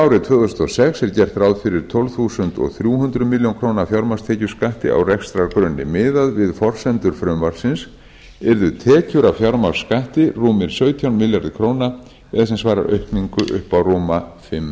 tvö þúsund og sex er gert ráð fyrir tólf þúsund þrjú hundruð milljóna króna fjármagnstekjuskatti á rekstrargrunni miðað við forsendur frumvarpsins yrðu tekjur af fjármagnsskatti rúmir sautján milljarðar króna eða sem svarar aukningu upp á rúma fimm